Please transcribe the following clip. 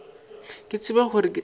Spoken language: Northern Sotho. ke tsebe gore ke tla